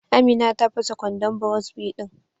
Amina ta fasa kwandon burosbi din.